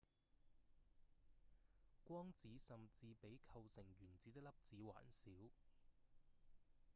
光子甚至比構成原子的粒子還小！